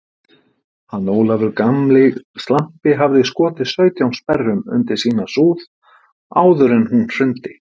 Hann Ólafur gamli slampi hafði skotið sautján sperrum undir sína súð áður en hún hrundi.